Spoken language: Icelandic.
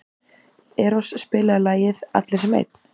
Eros, spilaðu lagið „Allir sem einn“.